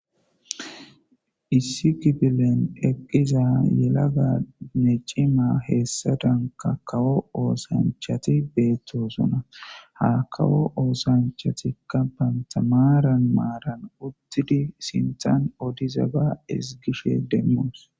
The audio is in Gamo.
Issi kifilen eqqiza yelagaanne cima heessadanka kawo oosanchati beettosona. Ha kawo oosanchatikka banta maaran maaran uttidi sinthan odiza ba ezgishe demmoos.